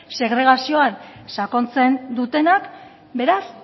segregazioan sakontzen dutenak beraz